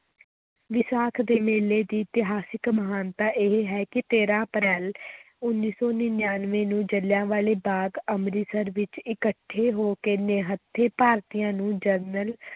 ਵਿਸਾਖ ਦੇ ਮੇਲੇ ਦੀ ਇਤਿਹਾਸਕ ਮਹਾਨਤਾ ਇਹ ਹੈ ਕਿ ਤੇਰਾਂ ਅਪ੍ਰੈਲ ਉੱਨੀ ਸੌ ਨੜ੍ਹਿਨਵੇਂ ਨੂੰ ਜਲਿਆਂਵਾਲੇ ਬਾਗ਼ ਅੰਮ੍ਰਿਤਸਰ ਵਿੱਚ ਇਕੱਠੇ ਹੋ ਕੇ ਨਿਹੱਥੇ ਭਾਰਤੀਆਂ ਨੂੰ ਜਨਰਲ